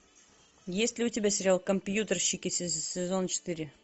есть ли у тебя сериал компьютерщики сезон четыре